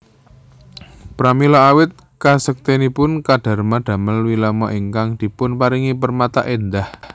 Pramila awit kasektenipun Kardama damel wilmana ingkang dipunparingi permata endah